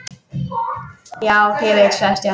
Já, ég veit sagði Stjáni.